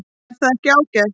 Er það ekki ágætt?